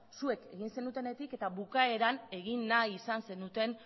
zuek egin zenutenetik eta bukaeran egin nahi izan zenuten